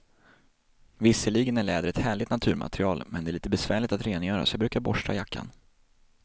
Visserligen är läder ett härligt naturmaterial, men det är lite besvärligt att rengöra, så jag brukar borsta jackan.